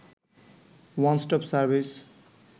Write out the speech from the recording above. one stop service